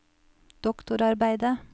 doktorarbeidet